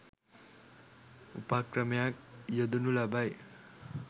උපක්‍රමයක් යොදනු ලබයි.